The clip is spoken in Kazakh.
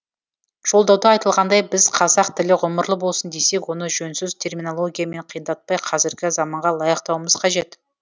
жолдауда айтылғандай біз қазақ тілі ғұмырлы болсын десек оны жөнсіз терминологиямен қиындатпай қазіргі заманға лайықтауымыз қажет